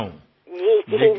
হ্যাঁ হ্যাঁ নিশ্চয়ই